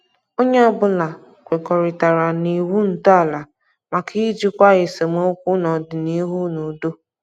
Onye ọbụla kwekọritara na iwu ntọala maka ijikwa esemokwu n'ọdịnihu n' udo.